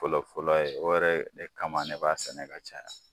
Fɔlɔ fɔlɔ ye , o yɛrɛ e kama ne b'a sɛnɛ ka caya.